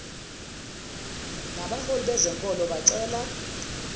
nabaholi bezenkolo bacela